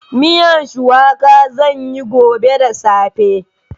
Miyan shuwaka zan yi gobe da safe.